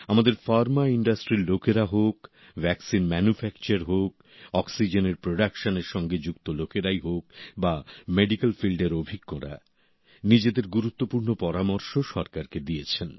আমাদের ফার্মা ইন্ডাস্ট্রির লোকেরা হোক ভ্যাকসিন ম্যানুফ্যাকচার হোক অক্সিজেনের প্রোডাকশন এর সঙ্গে যুক্ত লোকেরাই হোক বা মেডিকেল ফিল্ডের অভিজ্ঞরা নিজেদের গুরুত্বপূর্ণ পরামর্শ সরকারকে দিয়েছেন